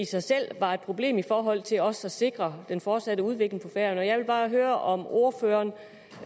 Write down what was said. sig selv var et problem i forhold til også at sikre den fortsatte udvikling på færøerne jeg vil bare høre om ordføreren